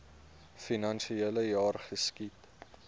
finansiele jaar geskied